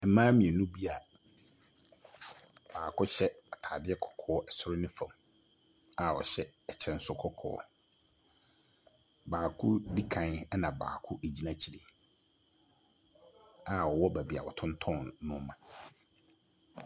Mmaa mmienu bi a baako hyɛ ataadeɛ kɔkɔɔ ɛsoro ne fam a ɔhyɛ ɛkyɛ nso kɔkɔɔ. Baako di kan ɛna baako egyina akyire a ɔwɔ baabi a ɔtontɔn nneema.